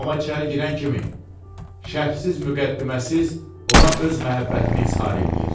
Amma içəri girən kimi şərxsiz, müqəddiməsiz ona öz məhəbbətini izhar eləyir.